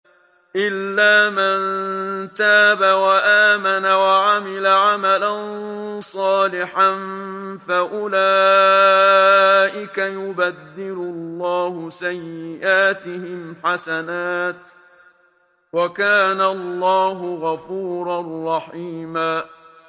إِلَّا مَن تَابَ وَآمَنَ وَعَمِلَ عَمَلًا صَالِحًا فَأُولَٰئِكَ يُبَدِّلُ اللَّهُ سَيِّئَاتِهِمْ حَسَنَاتٍ ۗ وَكَانَ اللَّهُ غَفُورًا رَّحِيمًا